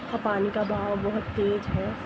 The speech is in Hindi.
पानी का भाव बहुत तेज है।